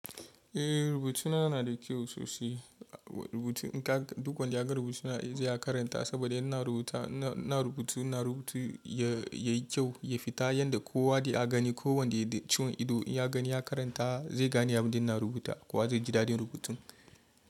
Eh rubutuna na da kyau sosai. Duk wanda ya ga rubutuna zai karanta saboda ina rubutu. Ina rubutu yayi kyau ya fita yanda kowa da ya gani ko wanda ya ciwon ido ya gani ya karanta zai gane abin da ina rubuta kowa zai ji dadin rubutun.